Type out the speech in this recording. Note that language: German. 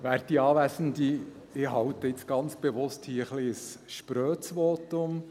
Ich halte jetzt hier ganz bewusst ein etwas sprödes Votum.